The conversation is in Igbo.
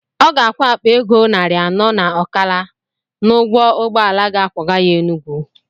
Ọ ga-akwụ akpa ego ịnarị anọ na ọkala n'ụgwọ ụgbọala ga akwọga ya Enugwu.